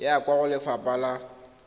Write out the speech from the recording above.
ya kwa go lefapha la